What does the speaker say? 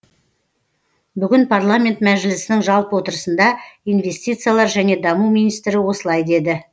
бүгін парламент мәжілісінің жалпы отырысында инвестициялар және даму министрі осылай деді